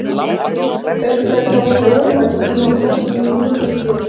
Haukdæli, þá væri úrvalið nóg þótt mín nyti ekki við.